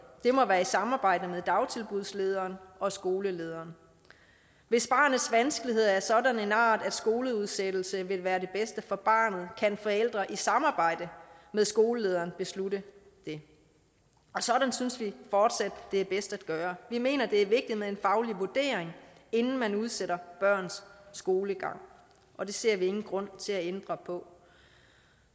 det må være i samarbejde med dagtilbudslederen og skolelederen hvis barnets vanskeligheder er af en sådan art at skoleudsættelse vil være det bedste for barnet kan forældre i samarbejde med skolelederen beslutte det og sådan synes vi fortsat det er bedst at gøre vi mener det er vigtigt med en faglig vurdering inden man udsætter børns skolegang og det ser vi ingen grund til at ændre på